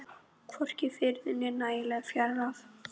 Hvorki var friður né nægileg fjárráð.